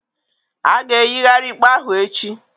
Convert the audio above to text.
A ga-eyigharị ikpe ahụ echi